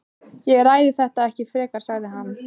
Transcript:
Ég ræði þetta ekki frekar sagði hann.